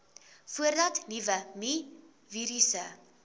voordat nuwe mivirusse